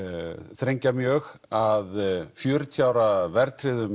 þrengja mjög að fjörutíu ára verðtryggðum